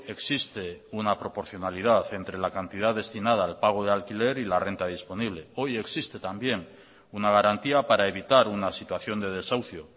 existe una proporcionalidad entre la cantidad destinada al pago de alquiler y la renta disponible hoy existetambién una garantía para evitar una situación de desahucio